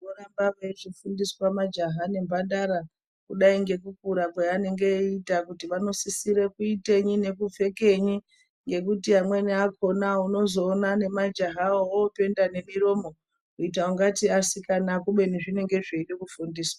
Voramba vechifundiswa majaha nemhandara kudai nekukura kuti vanosisira kuita ngekenyi nekuti amweni akona unoona nemajahawo openda nemiromo kuita kungeti asikana kubeni zvinenge zvichida kufundiswa.